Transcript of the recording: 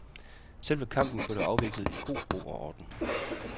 Selve kampen blev dog afviklet i god ro og orden.